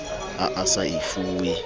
ha a sa e fuwe